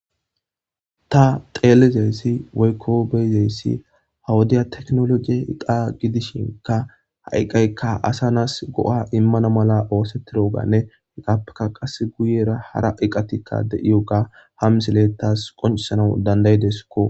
ta xeelizeyssi woykko beyizeyssi hawodiya teknologie iqa gidishinka ha7iqaykka asa nas go7a immana mala oosettiroganne heqappeka qas guyera hara iqatikka de7iyoga ham silettas qoncisanau dandayideskko